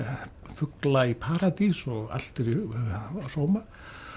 fugla í paradís og allt er í sóma